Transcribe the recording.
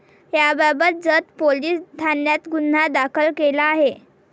याबाबत जत पोलिस ठाण्यात गुन्हा दाखल केला आहे.